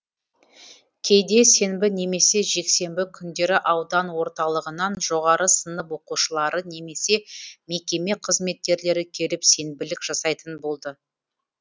кейде сенбі немесе жексенбі күндері аудан орталығынан жоғары сынып оқушылары немесе мекеме қызметкерлері келіп сенбілік жасайтын болды